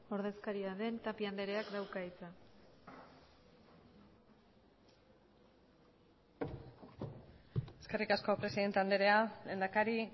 ordezkaria den tapia andreak dauka hitza eskerrik asko presidente andrea lehendakari